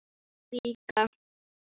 Og líklega hugsuðu aðrir foreldrar eins.